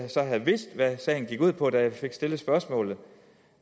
havde vidst hvad sagen gik ud på da jeg fik stillet spørgsmålet